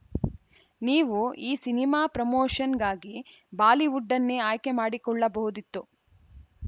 ನೀವು ಈ ಸಿನಿಮಾ ಪ್ರಮೋಶನ್‌ಗಾಗಿ ಬಾಲಿವುಡ್ಡನ್ನೇ ಆಯ್ಕೆ ಮಾಡಿಕೊಳ್ಳಬಹುದಿತ್ತು